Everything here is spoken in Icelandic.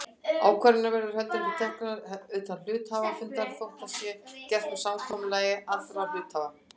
Ákvarðanir verða heldur ekki teknar utan hluthafafundar þótt það sé gert með samkomulagi allra hluthafanna.